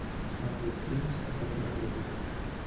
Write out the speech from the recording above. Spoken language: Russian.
смотреть фильм спасатели малибу